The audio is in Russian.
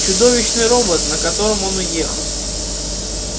чудовищный робот на котором он уехал